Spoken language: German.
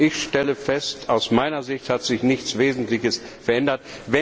Ich stelle fest, aus meiner Sicht hat sich nichts Wesentliches verändert.